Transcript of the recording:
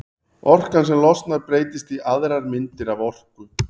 Orkan sem losnar breytist í aðrar myndir af orku.